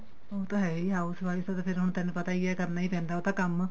ਉਹ ਤਾਂ ਹੈ ਈ house wife ਦਾ ਤਾਂ ਫੇਰ ਹੁਣ ਤੈਨੂੰ ਪਤਾ ਈ ਏ ਕਰਨਾ ਈ ਪੈਂਦਾ ਉਹ ਤਾਂ ਕੰਮ